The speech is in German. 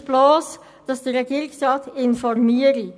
Er wünscht bloss, dass der Regierungsrat informiert.